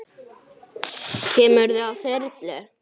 Kemurðu á þyrlu?